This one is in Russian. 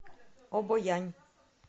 обоянь